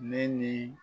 Ne ni